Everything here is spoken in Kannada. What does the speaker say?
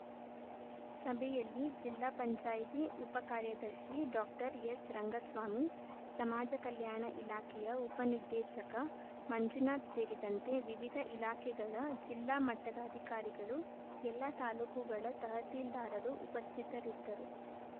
ಸಭೆಯಲ್ಲಿ ಜಿಲ್ಲಾಪಂಚಾಯತ್ ಉಪಕಾರ್ಯದರ್ಶಿ ಡಾಕ್ಟರ್ ಎಸ್‌ರಂಗಸ್ವಾಮಿ ಸಮಾಜ ಕಲ್ಯಾಣ ಇಲಾಖೆಯ ಉಪನಿರ್ದೇಶಕ ಮಂಜುನಾಥ್‌ ಸೇರಿದಂತೆ ವಿವಿಧ ಇಲಾಖೆಗಳ ಜಿಲ್ಲಾ ಮಟ್ಟದ ಅಧಿಕಾರಿಗಳು ಎಲ್ಲಾ ತಾಲೂಕುಗಳ ತಹಸೀಲ್ದಾರರು ಉಪಸ್ಥಿತರಿದ್ದರು